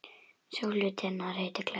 Sá hluti hennar heitir glæra.